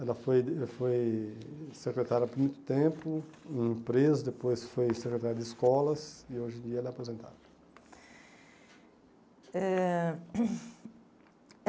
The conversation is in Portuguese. Ela foi foi secretária por muito tempo, em empresa, depois foi secretária de escolas e hoje em dia ela é aposentada. Eh